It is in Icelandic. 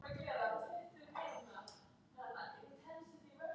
Tökum jörðina sem dæmi.